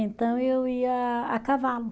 Então eu ia a cavalo.